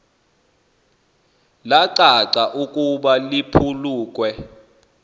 lacaca ukuba liphulukiwe